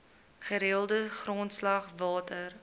gereelde grondslag water